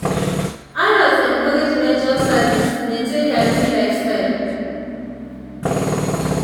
adults encouraged measure servings maintain healthy lifestyle.